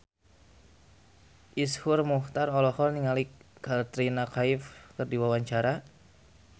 Iszur Muchtar olohok ningali Katrina Kaif keur diwawancara